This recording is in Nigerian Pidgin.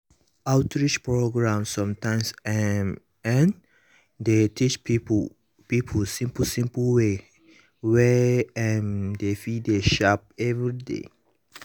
outreach programs sometimes [um][um]dey teach people people simple simple ways wey um dem fit dey sharp everyday.